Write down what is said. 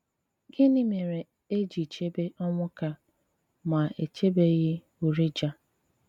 Gịnị mèrè è jì chèbè Onwuka, mà è chèbèghị Urijah?